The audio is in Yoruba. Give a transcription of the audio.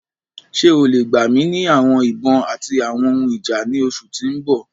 Ṣe o le gba mi ni awọn ibon ati awọn ohun ija ni oṣu ti n bọ?